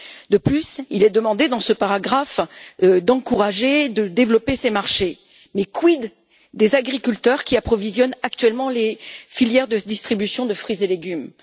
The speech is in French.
De plus, il est demandé dans ce paragraphe d'encourager et de développer ces marchés, mais quid des agriculteurs qui approvisionnent actuellement les filières de distribution de fruits et légumes?